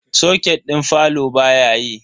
Soket din falo baya yi.